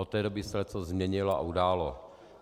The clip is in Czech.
Od té doby se leccos změnilo a událo.